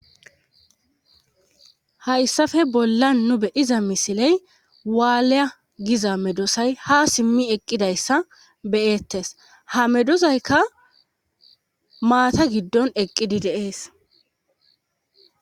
hayssafe bolla nu bediza misiley waalya giza medosay ha simmi eqqidayssa beyettes ha medozayka maata giddon eqqidi deees